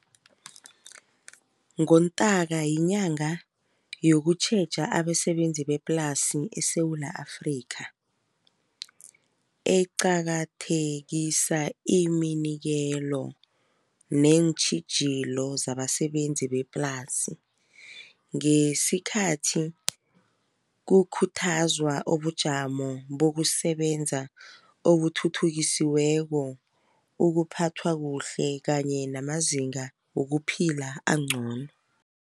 NgoNtanka yinyanga yokutjheja abasebenzi bemaplasi eSewula Afrika. Eqakathekisa iminikelo neentjhijilo zabasebenzi beplasi. Ngesikhathi kukhuthazwa ubujamo bokusebenza obuthuthukisiweko ukuphathwa kuhle kanye namazinga wokuphila angcono.